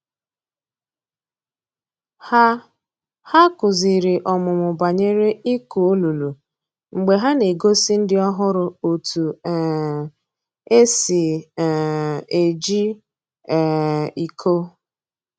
Ha Ha kuziri ọmụmụ banyere ịkụ olulu mgbe ha na-egosi ndị ọhụrụ otu um e si um eji um iko.